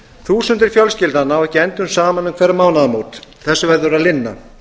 þúsundir fjölskyldna ná ekki endum saman um hver mánaðamót þessu verður að linna